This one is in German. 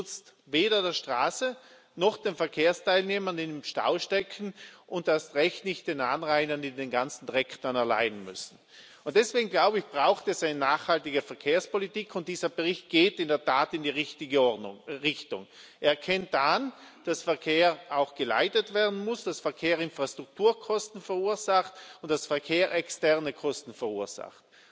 Er nutzt weder der Straße noch den Verkehrsteilnehmern, die im Stau stecken, und erst recht nicht den Anrainern, die den ganzen Dreck dann erleiden müssen. Deswegen braucht es eine nachhaltige Verkehrspolitik. Dieser Bericht geht in der Tat in die richtige Richtung. Er erkennt an, dass Verkehr auch geleitet werden muss, dass Verkehr Infrastrukturkosten verursacht und dass Verkehr externe Kosten verursacht.